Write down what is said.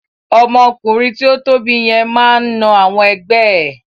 Ọmọ ọkùnrin tí o tóbi yẹn máa n na àwọn ẹgbẹ́ ẹ.